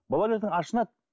бұлар ертең ашынады